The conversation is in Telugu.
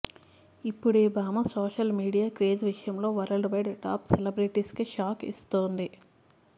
ఇప్పుడీ భామ సోషల్ మీడియా క్రేజ్ విషయంలో వరల్డ్ వైడ్ టాప్ సెలబ్రిటీస్కే షాక్ ఇస్తోంది